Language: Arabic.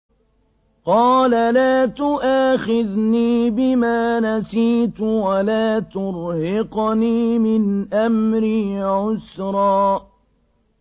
قَالَ لَا تُؤَاخِذْنِي بِمَا نَسِيتُ وَلَا تُرْهِقْنِي مِنْ أَمْرِي عُسْرًا